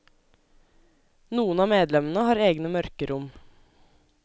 Noen av medlemmene har egne mørkerom.